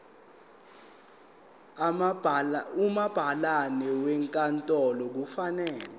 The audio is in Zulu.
umabhalane wenkantolo kufanele